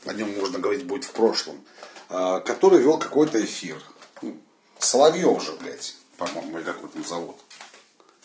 о нём можно говорить будь в прошлом который вёл какой-то эфир ну соловьёв же блядь по моему или как его там зовут